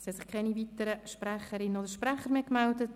Es haben sich keine weiteren Sprecherinnen und Sprecher gemeldet.